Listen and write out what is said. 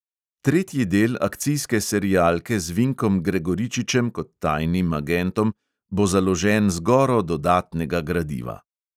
Tretji del akcijske serialke z vinkom gregoričičem kot tajnim agentom bo založen z goro dodatnega gradiva.